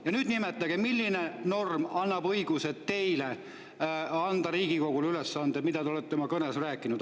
Ja nüüd nimetage, milline norm annab teile õiguse anda Riigikogule ülesanded, millest te olete oma kõnes rääkinud.